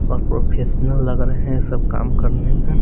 और प्रोफेशनल लग रहे हैं यह सब काम करने में--